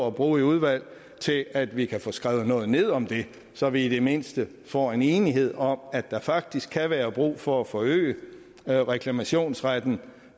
at bruge i udvalget til at vi kan få skrevet noget ned om det så vi i det mindste får en enighed om at der faktisk kan være brug for at forøge reklamationsretten